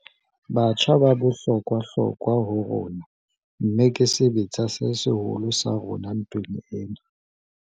Batjha ba bohlokwahlokwa ho rona, mmeke sebetsa se seholo sa rona ntweng ena.